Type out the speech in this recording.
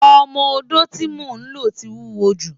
Ọmọ-odó tí mo lò ti wúwo jù.